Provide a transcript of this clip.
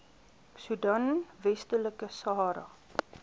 soedan westelike sahara